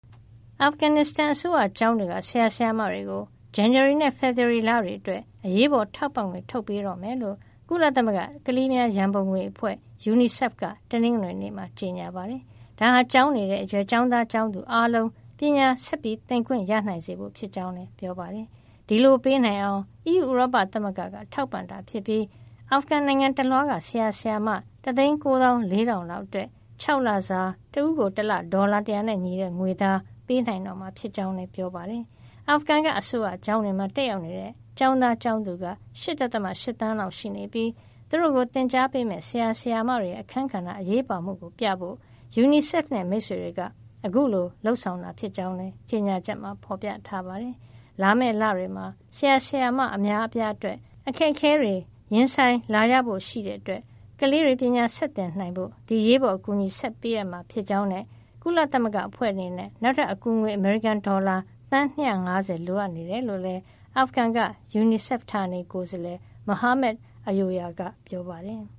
အာဖဂန်နစ္စတန် အစိုးရကျောင်းတွေက ဆရာ ဆရာမတွေကို ဇန်နဝါရီနဲ့ ဖေဖော်ဝါရီလတွေအတွက် အရေးပေါ်ထောက်ပံ့ငွေ ထုတ်ပေးမှာဖြစ်ကြောင်း ကုလသမဂ္ဂ ကလေးများရန်ပုံငွေအဖွဲ့ (UNICEF) က တနင်္ဂနွေနေ့မှာ ကြေညာပါတယ်။ ဒါဟာ ကျောင်းနေတဲ့အရွယ် ကျောင်းသား ကျောင်းသူအားလုံး ပညာဆက်သင်နိုင်ခွင့် ရစေဖို့ ဖြစ်ကြောင်းလည်း ပြောပါတယ်။ ဒီလိုပေးနိုင်အောင် အီးယူ ဥရောပသမဂ္ဂက ထောက်ပံ့တာဖြစ်ပြီး အာဖဂန်နိုင်ငံတလွှားက ဆရာ ဆရာမ ၁၉၄,၀၀၀ လောက်အတွက် ၆ လစာ တဦးကို တလ ဒေါ်လာ ၁၀၀ နဲ့ညီတဲ့ ငွေသား ပေးနိုင်တော့မှာ ဖြစ်ကြောင်းလည်း ပြောပါတယ်။ အာဖဂန်က အစိုးရကျောင်းတွေမှာ တက်ရောက်တဲ့ ကျောင်းသားကျောင်းသူက ၈ ဒသမ ၈ သန်းလောက်ရှိနေပြီး သူတို့ကို သင်ကြားပေးမယ့် ဆရာ ဆရာမတွေရဲ့ အခန်းကဏ္ဍ အရေးပါမှုကိုပြဖို့ UNICEF နဲ့ မိတ်ဆွေတွေက အခုလိုလုပ်ဆောင်တာ ဖြစ်ကြောင်းလည်း ကြေညာချက်မှာ ဖော်ပြထားပါတယ်။ လာမယ့်လတွေမှာ ဆရာ ဆရာမ အများအပြားအတွက် အခက်ခဲတွေ ရင်ဆိုင်လာရဖို့ ရှိတဲ့အတွက် ကလေးတွေ ပညာဆက်သင်နိုင်ဖို့ ဒီအရေးပေါ်အကူအညီကို ဆက်လက်ပေးအပ်မှာ ဖြစ်ကြောင်းနဲ့ ကုလအဖွဲ့အနေနဲ့ နောက်ထပ်အကူငွေ အမေရိကန်ဒေါ်လာ သန်း ၂၅၀ လိုအပ်နေကြောင်း အာဖဂန်က UNICEF ဌာနေကိုယ်စားလှယ် Mohamed Ayoya က ပြောပါတယ်။